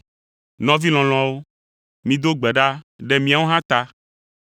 Nɔvi lɔlɔ̃awo, mido gbe ɖa ɖe míawo hã ta.